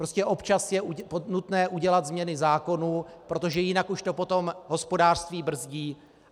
Prostě občas je nutné udělat změny zákonů, protože jinak už to potom hospodářství brzdí.